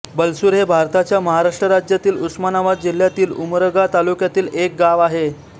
बलसूर हे भारताच्या महाराष्ट्र राज्यातील उस्मानाबाद जिल्ह्यातील उमरगा तालुक्यातील एक गाव आहे